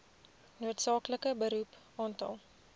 noodsaaklike beroep aantal